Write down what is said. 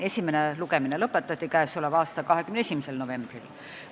Esimene lugemine lõpetati 21. novembril.